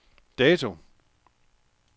dato